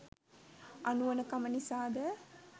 අනුවණකම නිසා ද?